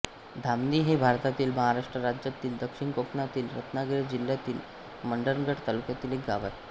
धामणी हे भारतातील महाराष्ट्र राज्यातील दक्षिण कोकणातील रत्नागिरी जिल्ह्यातील मंडणगड तालुक्यातील एक गाव आहे